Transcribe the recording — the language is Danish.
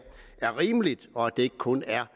er rimelig og at det ikke kun er